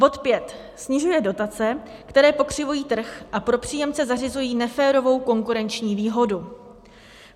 Bod 5 snižuje dotace, které pokřivují trh a pro příjemce zařizují neférovou konkurenční výhodu.